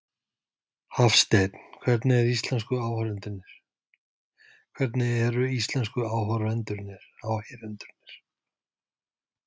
Hafsteinn: Hvernig eru íslensku áheyrendurnir?